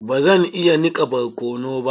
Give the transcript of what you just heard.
Bazan iya nika barkano ba.